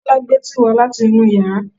Kọ́lá gbé tíì wá láti inú yàrá